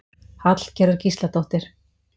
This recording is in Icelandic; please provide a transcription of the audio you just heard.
Hallgerður Gísladóttir.